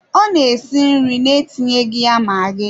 Ọ na-esi nri na-etinyeghi ya magi.